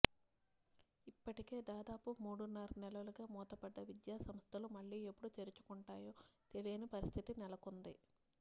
ఇప్పటికే దాదాపు మూడున్నర నెలలుగా మూతపడ్డ విద్యాసంస్థలు మళ్లీ ఎప్పుడు తెరుచుకుంటాయో తెలియని పరిస్థితి నెలకొంది